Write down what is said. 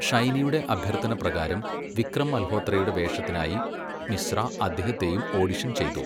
ഷൈനിയുടെ അഭ്യർത്ഥനപ്രകാരം, വിക്രം മൽഹോത്രയുടെ വേഷത്തിനായി മിശ്ര അദ്ദേഹത്തെയും ഓഡിഷൻ ചെയ്തു.